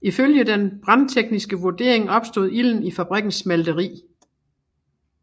Ifølge den brandtekniske vurdering opstod ilden i fabrikkens smelteri